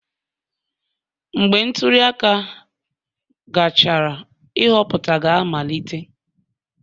Mgbe ntuli aka gachara, nhọpụta ga-amalite